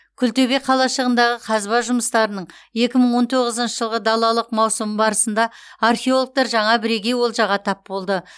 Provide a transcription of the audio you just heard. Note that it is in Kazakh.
күлтөбе қалашығындағы қазба жұмыстарының екі мың он тоғызыншы жылғы далалық маусымы барысында археологтар жаңа бірегей олжаға тап болды